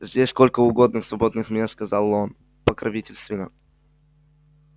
здесь сколько угодно свободных мест сказал он покровительственно